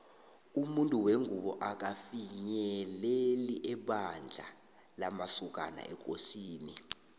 umuntu wengubo akafinyeleli ebandla lamasokana ekosini